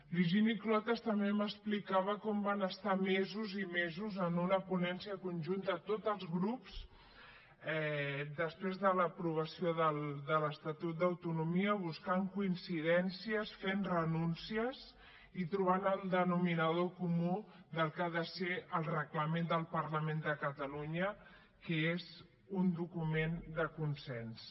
l’higini clotas també m’explicava com van estar mesos i mesos en una ponència conjunta tots els grups després de l’aprovació de l’estatut d’autonomia buscant coincidències fent renúncies i trobant el denominador comú del que ha de ser el reglament del parlament de catalunya que és un document de consens